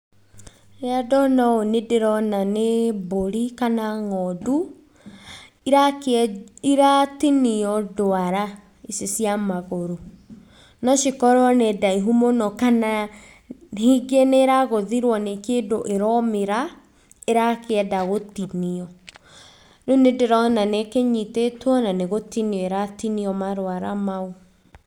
Rĩrĩa ndona ũũ ndĩrona nĩ mbũri, kana ng'ondu, irakĩ iratinio ndwara ici cia magũrũ. No cikorwo nĩ ndaihu mũno, kana rĩngĩ nĩragũthirwo nĩ kĩndũ ĩraũmĩra, ĩrakĩenda gũtinio. Rĩũ nĩndĩrona nĩikĩnyitĩtio na nĩ gũtinio iratinio marwara mau.